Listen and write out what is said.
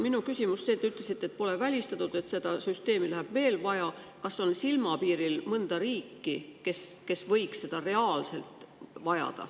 Kuna te ütlesite, et pole välistatud, et seda süsteemi läheb veel vaja, siis on minu küsimus see, kas on silmapiiril mõni riik, kes võiks seda reaalselt vajada.